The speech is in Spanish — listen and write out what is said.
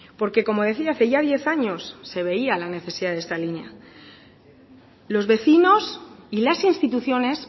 porque como decía hace ya diez años se veía la necesidad de esta línea los vecinos y las instituciones